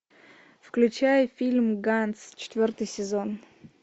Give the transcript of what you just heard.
включай фильм ганц четвертый сезон